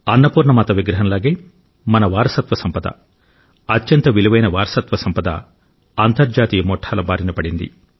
అన్నపూర్ణ మాత విగ్రహం లాగే మన వారసత్వ సంపద అత్యంత విలువైన వారసత్వ సంపద అంతర్జాతీయ ముఠాల బారినపడింది